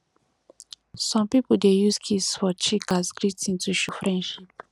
some pipo dey use kiss for cheek as greeting to show friendship